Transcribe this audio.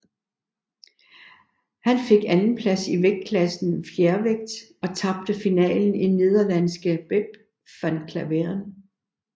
Han fik en andenplads i vægtklassen fjervægt og tabte finalen til nederlandske Bep van Klaveren